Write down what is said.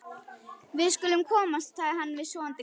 Við skulum komast, sagði hann við sofandi hvolpinn.